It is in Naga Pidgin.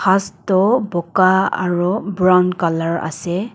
has toh buka aro brown colour ase.